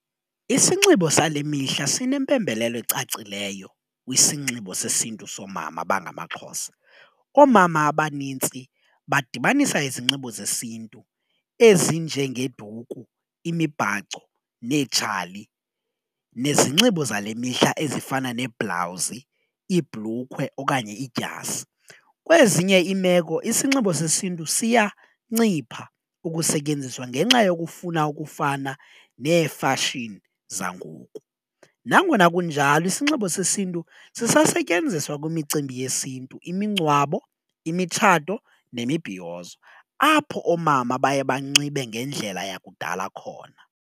Isinxibo sale mihla sinempembelelo ecacileyo kwisinxibo sesiNtu soomama abangamaXhosa oomama abanintsi badibanisa izinxibo zesiNtu ezinjengeduku, imibhaco neetshali, nezinxibo zale mihla ezifana neeblawuzi, iibhulukhwe okanye iidyasi. Kwezinye iimeko isinxibo sesiNtu siyancipha ukusetyenziswa ngenxa yokufuna ukufana neefashini zangoku. Nangona kunjalo isinxibo sesiNtu sisasetyenziswa kwimicimbi yesiNtu imingcwabo, imitshato nemibhiyozo apho oomama baye banxibe ngendlela yakudala khona.